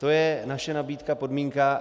To je naše nabídka, podmínka.